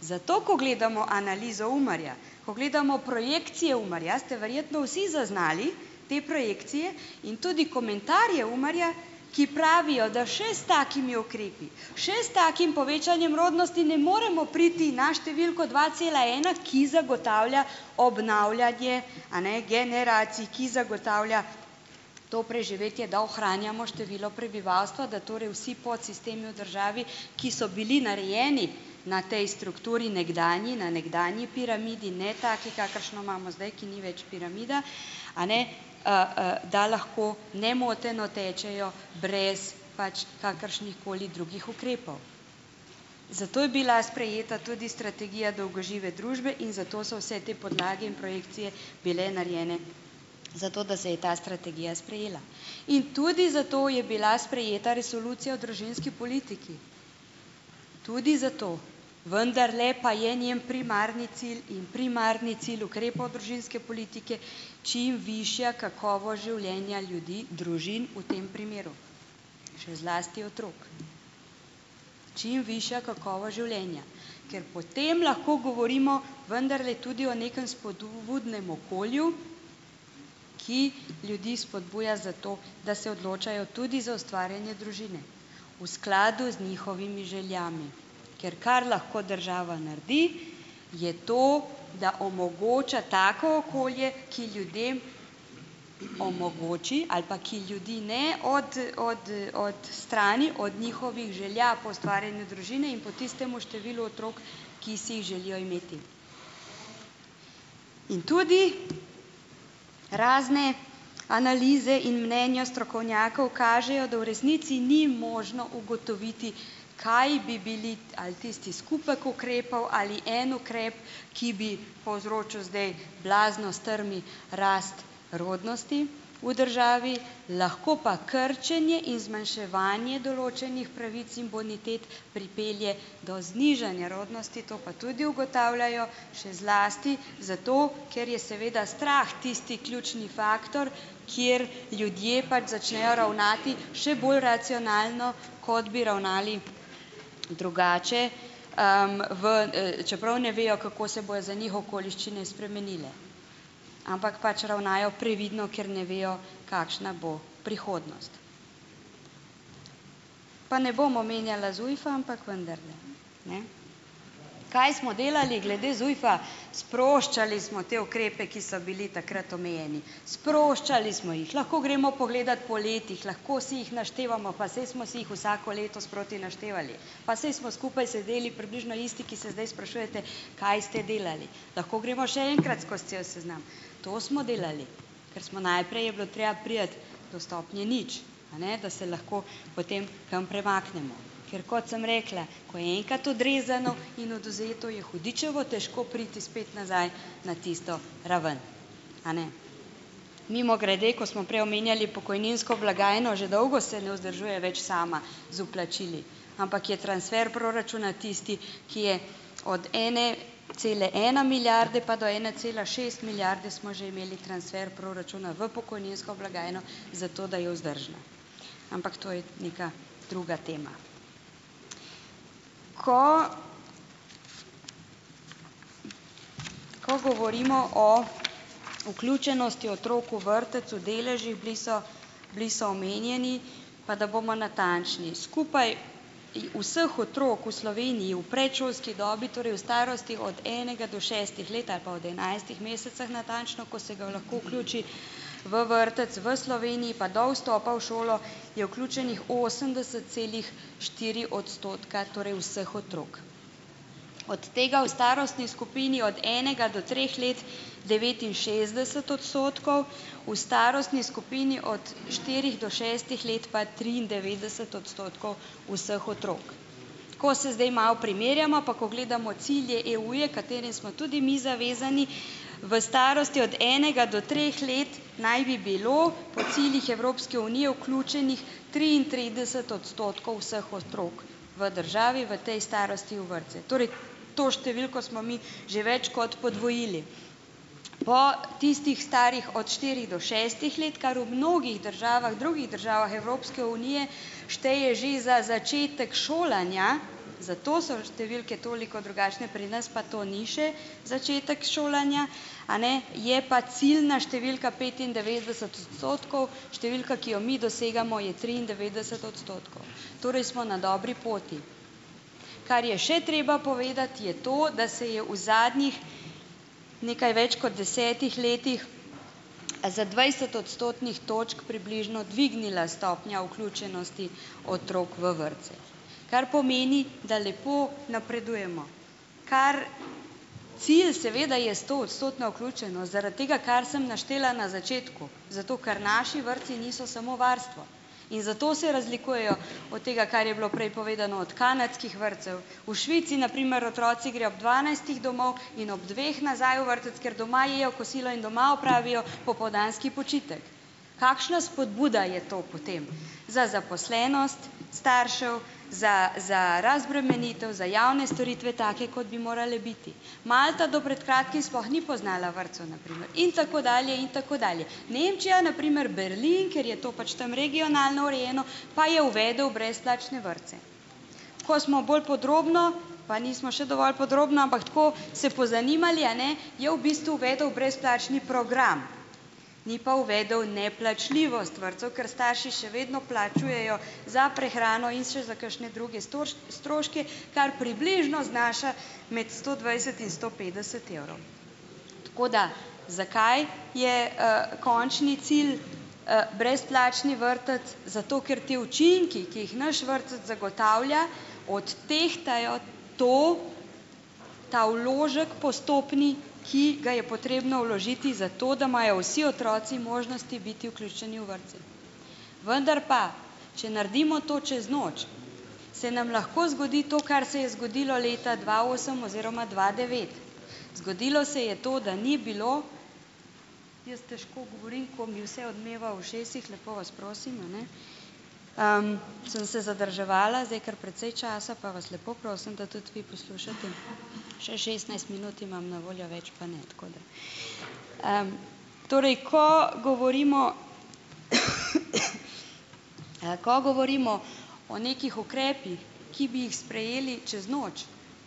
Zato ko gledamo analizo UMAR-ja, ko gledamo projekcije UMAR-ja, ste verjetno vsi zaznali te projekcije, in tudi komentarje UMAR-ja, ki pravijo, da še s takimi ukrepi - še s takim povečanjem rodnosti ne moremo priti na številko dva cela ena, ki zagotavlja obnavljanje a ne, generacij. Ki zagotavlja to preživetje, da ohranjamo število prebivalstva, da torej vsi podsistemi v državi, ki so bili narejeni na tej strukturi nekdanji, na nekdanji piramidi, ne taki, kakršno imamo zdaj, ki ni več piramida - a ne, da lahko nemoteno tečejo brez pač kakršnihkoli drugih ukrepov. Zato je bila sprejeta tudi strategija dolgožive družbe in zato so vse te podlage in projekcije bile narejene, zato da se je ta strategija sprejela. In tudi zato je bila sprejeta resolucija o družinski politiki. Tudi zato. Vendarle pa je njen primarni cilj in primarni cilj ukrepov družinske politike čim višja kakovost življenja ljudi - družin v tem primeru. Še zlasti otrok. Čim višja kakovost življenja. Ker potem lahko govorimo vendarle tudi o nekem spodbudnem okolju, ki ljudi spodbuja za to, da se odločajo tudi za ustvarjanje družine. V skladu z njihovimi željami. Ker kar lahko država naredi, je to, da omogoča tako okolje, ki ljudem omogoči - ali pa - ki ljudi ne odstrani od njihovih želja po ustvarjanju družine in po tistem številu otrok, ki si jih želijo imeti. In tudi razne analize in mnenja strokovnjakov kažejo, da v resnici ni možno ugotoviti, kaj bi bili - ali tisti skupek ukrepov ali en ukrep, ki bi povzročil zdaj blazno strmi rast rodnosti v državi. Lahko pa krčenje in zmanjševanje določenih pravic in bonitet pripelje do znižanja rodnosti, to pa tudi ugotavljajo, še zlasti zato, ker je seveda strah tisti ključni faktor, kjer ljudje pač začnejo ravnati še bolj racionalno, kot bi ravnali drugače, v čeprav ne vejo, kako se bojo za njih okoliščine spremenile. Ampak pač ravnajo previdno, ker ne vejo, kakšna bo prihodnost. Pa ne bom omenjala ZUJF-a, ampak vendarle, ne. Kaj smo delali glede ZUJF-a - sproščali smo te ukrepe, ki so bili takrat omejeni. Sproščali smo jih. Lahko gremo pogledat po letih. Lahko si jih naštevamo. Pa saj smo si jih vsako leto sproti naštevali. Pa saj smo skupaj sedeli približno isti, ki se zdaj sprašujete: "Kaj ste delali?" Lahko gremo še enkrat skozi cel seznam. To smo delali. Ker smo - najprej je bilo treba priti do stopnje nič, a ne. Da se lahko potem kam premaknemo. Ker kot sem rekla - ko je enkrat odrezano in odvzeto, je hudičevo težko priti spet nazaj na tisto raven, a ne? Mimogrede, ko smo prej omenjali pokojninsko blagajno - že dolgo se ne vzdržuje več sama z vplačili. Ampak je transfer proračuna tisti, ki je - od ene cele ena milijarde pa do ene cela šest milijarde - smo že imeli transfer proračuna v pokojninsko blagajno, zato da je vzdržna. Ampak to je neka druga tema. Ko ko govorimo o vključenosti otrok v vrtec v deležih - bili so, bili so omenjeni. Pa da bomo natančni. Skupaj vseh otrok v Sloveniji v predšolski dobi, torej v starosti od enega do šestih let - ali pa od enajstih mesecev, natančno, ko se ga lahko vključi v vrtec v Sloveniji, pa do vstopa v šolo - je vključenih osemdeset celih štiri odstotka torej vseh otrok. Od tega v starostni skupini od enega do treh let devetinšestdeset odstotkov, v starostni skupini od štirih do šestih let pa triindevetdeset odstotkov vseh otrok. Ko se zdaj malo primerjamo pa ko gledamo cilje EU-ja, katerim smo tudi mi zavezani v starosti od enega do treh let, naj bi bilo po ciljih Evropske Unije vključenih triintrideset odstotkov vseh otrok v državi v tej starosti v vrtce. Torej to številko smo mi že več kot podvojili. Po tistih starih od štirih do šestih let, kar v mnogih državah, drugih državah Evropske Unije šteje že za začetek šolanja, zato so številke toliko drugačne, pri nas pa to ni še začetek šolanja, a ne, je pa ciljna številka petindevetdeset odstotkov, številka, ki jo mi dosegamo, je triindevetdeset odstotkov. Torej smo na dobri poti. Kar je še treba povedati, je to, da se je v zadnjih nekaj več kot desetih letih za dvajset odstotnih točk približno dvignila stopnja vključenosti otrok v vrtce, kar pomeni, da lepo napredujemo. Kar, cilj seveda je stoodstotna vključenost, zaradi tega, kar sem naštela na začetku, zato ker naši vrtci niso samo varstvo in zato se razlikujejo od tega, kar je bilo prej povedano, od kanadskih vrtcev. V Švici na primer otroci grejo ob dvanajstih domov in ob dveh nazaj v vrtec, ker doma jejo kosilo in doma opravijo popoldanski počitek. Kakšna spodbuda je to potem za zaposlenost staršev, za za razbremenitev, za javne storitve take, kot bi morale biti. Malta do pred kratkim sploh ni poznala vrtcev na primer in tako dalje in tako dalje. Nemčija, na primer Berlin, ker je to pač tam regionalno urejeno, pa je uvedel brezplačne vrtce. Ko smo bolj podrobno, pa nismo še dovolj podrobno, ampak tako, se pozanimali, a ne, je v bistvu uvedel brezplačni program, ni pa uvedel neplačljivost vrtcev, ker starši še vedno plačujejo za prehrano in še za kakšne druge stroške, kar približno znaša med sto dvajset in sto petdeset evrov. Tako da, zakaj je končni cilj brezplačni vrtec? Zato, ker ti učinki, ki jih naš vrtec zagotavlja, odtehtajo to, ta vložek, postopni, ki ga je potrebno vložiti zato, da imajo vsi otroci možnosti biti vuključeni v vrtce. Vendar pa, če naredimo to čez noč, se nam lahko zgodi to, kar se je zgodilo leta dva osem oziroma dva devet. Zgodilo se je to, da ni bilo ... Jaz težko govorim, ko mi vse odmeva v ušesih, lepo vas prosim, a ne, sem se zadrževala zdaj kar precej časa, pa vas lepo prosim, da tudi vi poslušate, še šestnajst minut imam na voljo, več pa ne, tako da ... Torej, ko govorimo, ko govorimo o nekih ukrepih, ki bi jih sprejeli čez noč,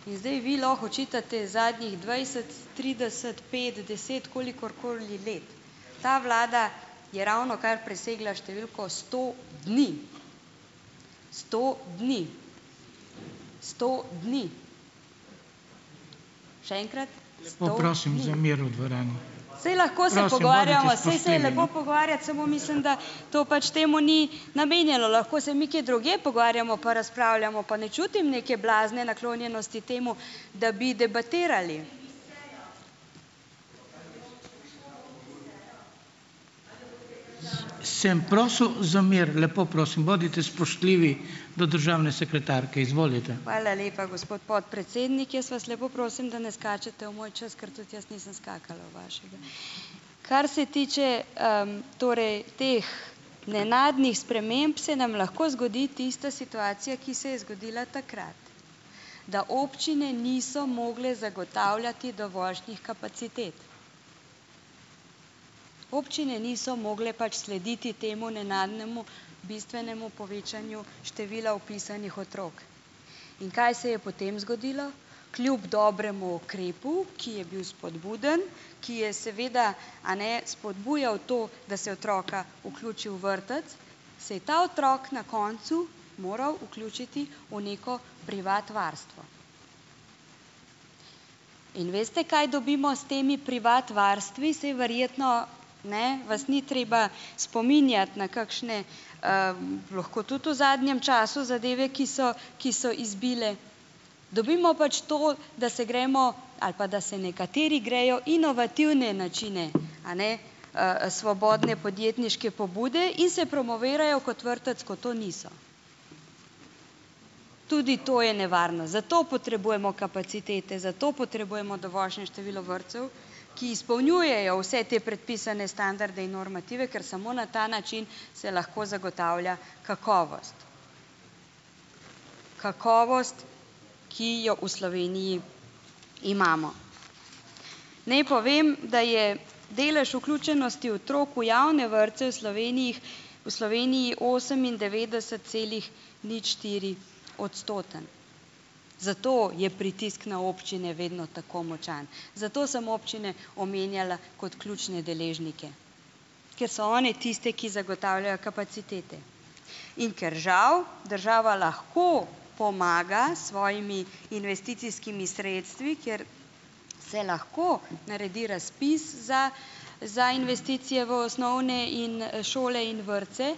in zdaj vi lahko očitate zadnjih dvajset, trideset, pet, deset, kolikorkoli let, ta vlada je ravnokar presegla številko sto dni. Sto dni. Sto dni. Še enkrat, Saj lahko se pogovarjamo, saj se je lepo pogovarjati, samo mislim, da to pač temu ni namenjeno. Lahko se mi kje drugje pogovarjamo pa razpravljamo, pa ne čutim neke blazne naklonjenosti temu, da bi debatirali. Hvala lepa, gospod podprecednik. Jaz vas lepo prosim, da ne skačete v moj čas, ker tudi jaz nisem skakala v vašega. Kar se tiče torej teh nenadnih sprememb, se nam lahko zgodi tista situacija, ki se je zgodila takrat, da občine niso mogle zagotavljati dovoljšnih kapacitet. Občine niso mogle pač slediti temu nenadnemu bistvenemu povečanju števila vpisanih otrok. In kaj se je potem zgodilo? Kljub dobremu ukrepu, ki je bil spodbuden, ki je seveda, a ne, spodbujal to, da se otroka vključi v vrtec, se je ta otrok na koncu moral vključiti v neko privat varstvo. In veste, kaj dobimo s temi privat varstvi, saj verjetno, ne, vas ni treba spominjati na kakšne, lahko tudi v zadnjem času zadeve, ki so, ki so izbile, dobimo pač to, da se gremo, ali pa, da se nekateri grejo inovativne načine, a ne, svobodne podjetniške pobude in se promovirajo kot vrtec, ko to niso. Tudi to je nevarno. Zato potrebujemo kapacitete, zato potrebujemo dovoljšne število vrtcev, ki izpolnjujejo vse te predpisane standarde in normative, ker samo na ta način se lahko zagotavlja kakovost, kakovost, ki jo v Sloveniji imamo. Naj povem, da je delež vključenosti otrok v javne vrtce v Sloveniji, v Sloveniji osemindevetdeset celih nič štiri odstoten, zato je pritisk na občine vedno tako močan, zato sem občine omenjala kot ključne deležnike, ker so one tiste, ki zagotavljajo kapacitete. In ker žal država lahko pomaga s svojimi investicijskimi sredstvi, kjer se lahko naredi razpis za za investicije v osnovne in šole in vrtce,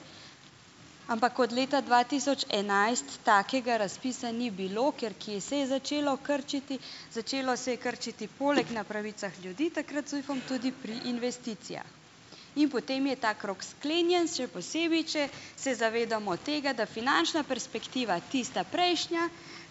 ampak od leta dva tisoč enajst takega raspisa ni bilo, ker kje se je začelo krčiti, začelo se je krčiti poleg na pravicah ljudi takrat z ZUJF-om tudi pri investicijah. In potem je ta krog sklenjen, še posebej, če se zavedamo tega, da finančna perspektiva tista prejšnja,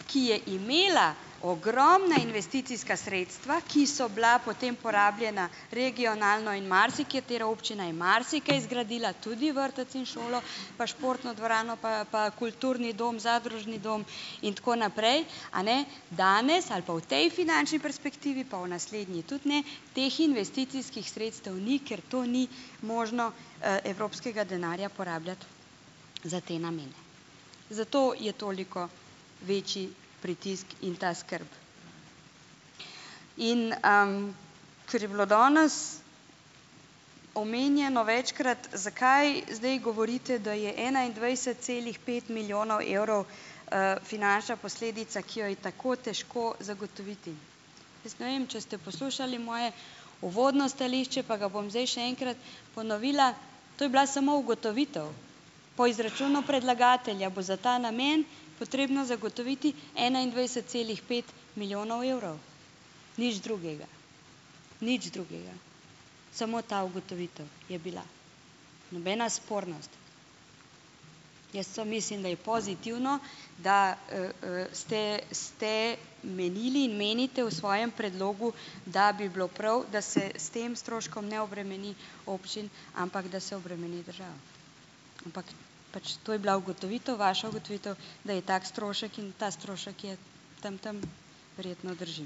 ki je imela ogromna investicijska sredstva, ki so bila potem porabljena regionalno, in marsikatera občina je marsikaj zgradila, tudi vrtec in šolo, pa športno dvorano, pa pa kulturni dom, zadružni dom in tako naprej, a ne, danes ali pa v tej finančni perspektivi, pa v naslednji tudi ne, teh investicijskih sredstev ni, ker to ni možno evropskega denarja porabljati za te namene. Zato je toliko večji pritisk in ta skrb. In ker je bilo danes omenjeno večkrat, zakaj zdaj govorite, da je enaindvajset celih pet milijonov evrov finančna posledica, ki jo je tako težko zagotoviti. Jaz ne vem, če ste poslušali moje uvodno stališče, pa ga bom zdaj še enkrat ponovila. To je bila samo ugotovitev, po izračunu predlagatelja bo za ta namen potrebno zagotoviti enaindvajset celih pet milijonov evrov, nič drugega, nič drugega, samo ta ugotovitev je bila, nobena spornost. Jaz samo mislim, da je pozitivno, da ste ste menili in menite v svojem predlogu, da bi bilo prav, da se s tem stroškom ne obremeni občin, ampak da se obremeni državo, ampak pač to je bila ugotovitev, vaša ugotovitev, da je tak strošek in ta strošek je tam, tam, verjetno drži.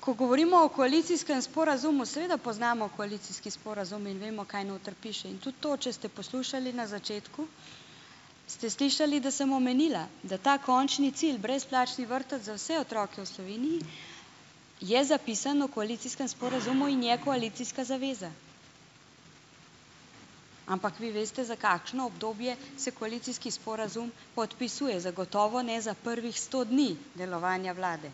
Ko govorimo o koalicijskem sporazumu, seveda poznamo koalicijski sporazum in vemo, kaj noter piše. In tudi to, če ste poslušali na začetku, ste slišali, da sem omenila, da ta končni cilj, brezplačni vrtec za vse otroke v Sloveniji, je zapisan v koalicijskem sporazumu in je koalicijska zaveza. Ampak vi veste, za kakšno obdobje se koalicijski sporazum podpisuje. Zagotovo ne za prvih sto dni delovanja Vlade.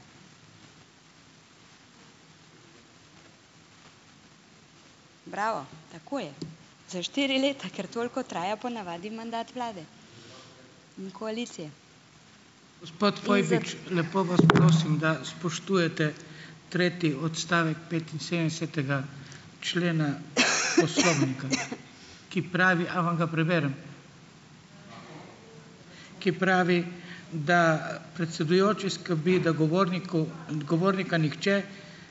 Bravo, tako je, za štiri leta, ker toliko traja po navadi mandat vlade. in koalicije.